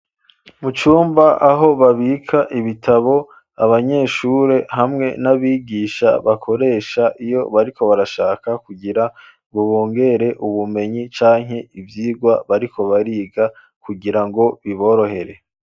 Mu cumba, aho babika ibitabo, abanyeshure hamwe n'abigisha, bakoresha, iyo bariko barashaka kugira ngo bongera ubumenyi, canke ivyigwa bariko bariga, kugira ngo biborohere.